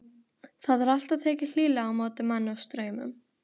Það er alltaf tekið hlýlega á móti manni á Straumum.